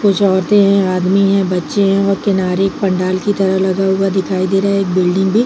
कुछ औरते है आदमी है बच्चे है और किनारे एक पंडाल की तरह लगा हुआ दिखाई दे रहा है। एक बिल्डिंग भी--